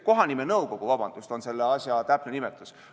Vabandust, kohanimenõukogu on selle asja täpne nimetus.